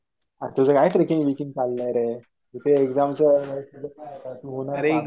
तुझं काय trekking breaking चाललंय रे. इथे एक्झामचं